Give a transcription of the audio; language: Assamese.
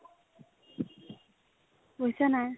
হৈছেনে নাই ?